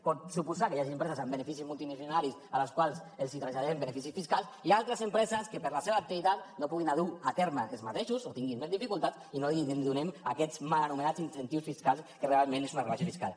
pot suposar que hi hagi empreses amb beneficis multimilionaris a les quals els traslladem beneficis fiscals i altres empreses que per la seva activitat no ho puguin dur a terme ells mateixos o hi tinguin més dificultats i no les donem aquests mal anomenats incentius fiscals que realment és una rebaixa fiscal